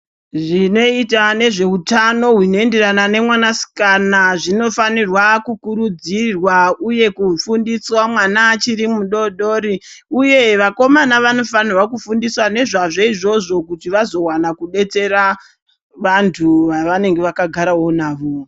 Zvinoita nezvehutano hunoenderana nemwanasikana zvinofanirwa kukurudzirwa uye kufundiswa mwana achiri mudodori uye vakomana vanofanirwa kufundiswa nezvazvo izvozvo vazowana kudetsera vantu vavanenge vakagarawo navo..